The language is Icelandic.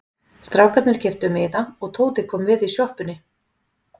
Strákarnir keyptu miða og Tóti kom við í sjoppunni.